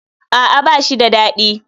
A'a ba shi dadi.